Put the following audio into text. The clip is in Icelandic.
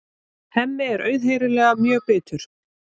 Hemmi er auðheyrilega mjög bitur.